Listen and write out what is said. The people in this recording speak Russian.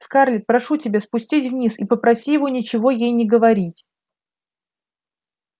скарлетт прошу тебя спустись вниз и попроси его ничего ей не говорить